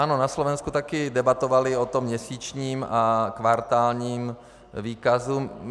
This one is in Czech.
Ano, na Slovensku také debatovali o tom měsíčním a kvartálním výkazu.